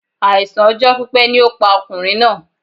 Àìsàn ọjọ́ pípẹ́ ni ó pa ọkùnrin náà